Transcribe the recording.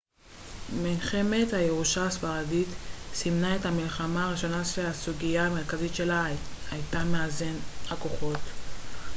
מלחמת הירושה הספרדית סימנה את המלחמה הראשונה שהסוגיה המרכזית שלה הייתה מאזן הכוחות